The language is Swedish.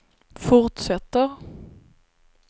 fortsätter